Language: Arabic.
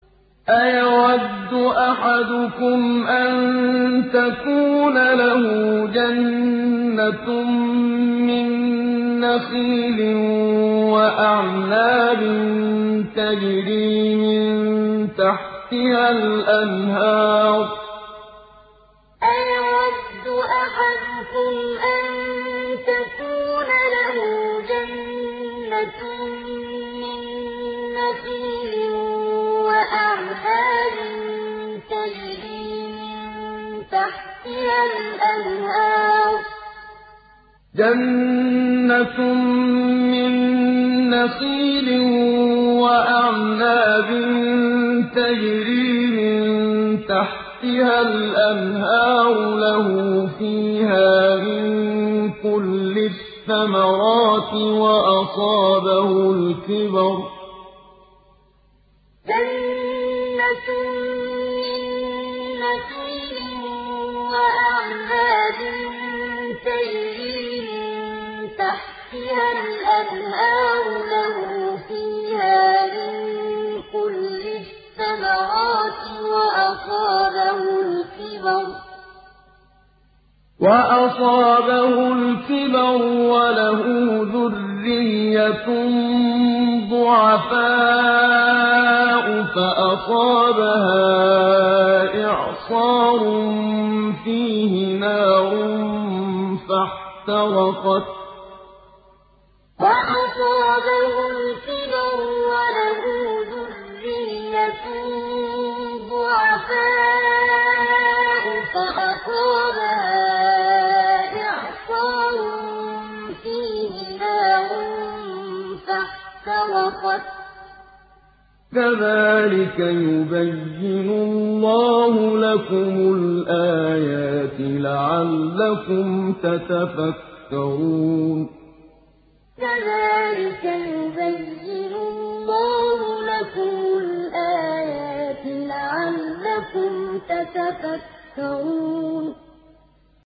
أَيَوَدُّ أَحَدُكُمْ أَن تَكُونَ لَهُ جَنَّةٌ مِّن نَّخِيلٍ وَأَعْنَابٍ تَجْرِي مِن تَحْتِهَا الْأَنْهَارُ لَهُ فِيهَا مِن كُلِّ الثَّمَرَاتِ وَأَصَابَهُ الْكِبَرُ وَلَهُ ذُرِّيَّةٌ ضُعَفَاءُ فَأَصَابَهَا إِعْصَارٌ فِيهِ نَارٌ فَاحْتَرَقَتْ ۗ كَذَٰلِكَ يُبَيِّنُ اللَّهُ لَكُمُ الْآيَاتِ لَعَلَّكُمْ تَتَفَكَّرُونَ أَيَوَدُّ أَحَدُكُمْ أَن تَكُونَ لَهُ جَنَّةٌ مِّن نَّخِيلٍ وَأَعْنَابٍ تَجْرِي مِن تَحْتِهَا الْأَنْهَارُ لَهُ فِيهَا مِن كُلِّ الثَّمَرَاتِ وَأَصَابَهُ الْكِبَرُ وَلَهُ ذُرِّيَّةٌ ضُعَفَاءُ فَأَصَابَهَا إِعْصَارٌ فِيهِ نَارٌ فَاحْتَرَقَتْ ۗ كَذَٰلِكَ يُبَيِّنُ اللَّهُ لَكُمُ الْآيَاتِ لَعَلَّكُمْ تَتَفَكَّرُونَ